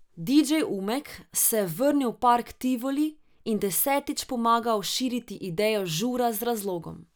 Didžej Umek se je vrnil v park Tivoli in desetič pomagal širiti idejo Žura z razlogom.